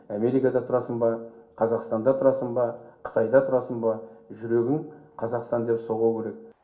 америкада тұрасың ба қазақстанда тұрасың ба қытайда тұрасың ба жүрегің қазақстан деп соғу керек